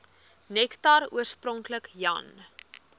nektar oorspronklik jan